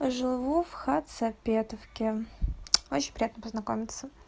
живу в хацапетовке очень приятно познакомиться